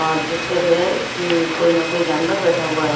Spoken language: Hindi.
और जिस पर जो है कोई ना कोई जानवर बैठा हुआ है।